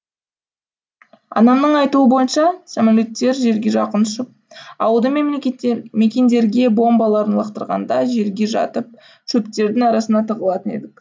анамның айтуы бойынша самолеттер жерге жақын ұшып ауылды мекендерге бомбаларын лақтырғанда жерге жатып шөптердің арасына тығылатын едік